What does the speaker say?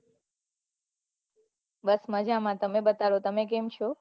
બસ મજા માં તમે બતાવો તમે કેમ છો